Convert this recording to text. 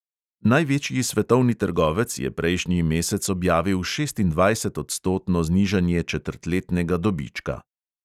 Največji svetovni trgovec je prejšnji mesec objavil šestindvajsetodstotno znižanje četrtletnega dobička.